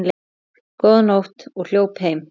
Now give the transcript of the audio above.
Góða nótt og hljóp heim.